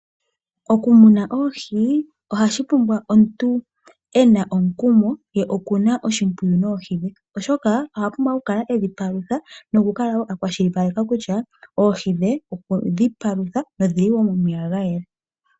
Okumuna oohi ohashi pumbwa omuntu ena omukumo ye okuna oshimpwiyu noohi dhe, oshoka oha pumbwa okukala edhipalutha nokukala wo akwashilipaleka kutya oohi dhe okwe dhi palutha na odhili wo momeya gayela.